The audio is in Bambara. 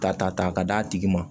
Ta ta ka d'a tigi ma